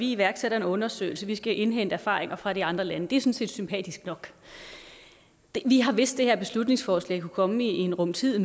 iværksætter en undersøgelse man skal indhente erfaringer fra de andre lande det set sympatisk nok vi har vidst at det her beslutningsforslag kunne komme i en rum tid